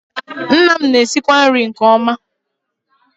Nna m na-esikwa nri nke ọma